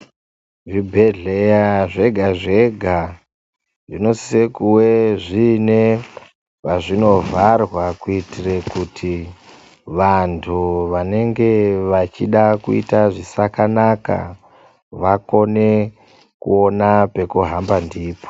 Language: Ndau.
Zvibhedhleya zvega-zvega zvinosise kuwe zvine pazvinovharwa kuitire kuti vantu vanenge vachida kuita zvisakanaka vakone kuona pekuhamba ndipo.